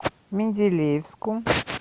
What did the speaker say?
менделеевску